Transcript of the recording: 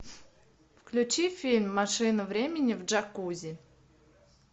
включи фильм машина времени в джакузи